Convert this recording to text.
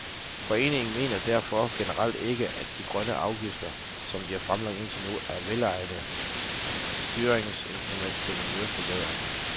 Foreningen mener derfor generelt ikke, at de grønne afgifter, som de er fremlagt indtil nu, er et velegnet styringsinstrument til miljøforbedring.